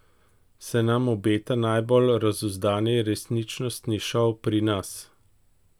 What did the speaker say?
Se nam obeta najbolj razuzdani resničnostni šov pri nas?